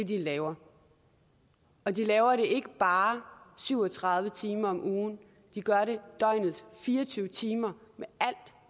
de laver og de laver det ikke bare syv og tredive timer om ugen de gør det døgnets fire og tyve timer